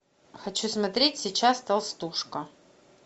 хочу смотреть сейчас толстушка